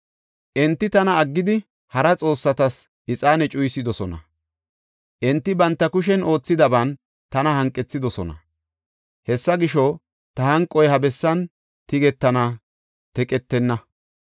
Enti tana aggidi hara xoossatas ixaane cuyisidosona; enti banta kushen oothidaban tana hanqethidosona. Hessa gisho, ta hanqoy ha bessan tigetana; teqetenna.’